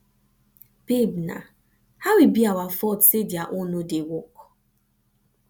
babe naa how e be our fault say their own no dey work